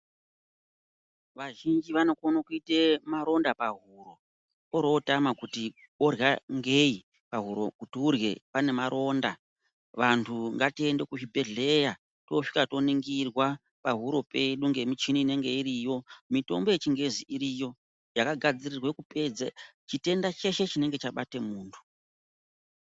Vazhinji vanokone kuite maronda pahuro orootama kuti orya ngei, pahuro kuti urye panemaronda vanhu ngatiende kuzvibhehleya toosvika toningirwa pahuro peduu ngemichini inonga iriyo, mitombo yechingezi iriyo yakagadzirirwe kupedze chitenda cheshe chinonga chabate muntu.